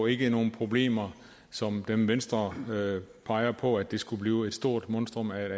ikke nogen problemer som dem venstre peger på nemlig at det skulle blive et stort monstrum af et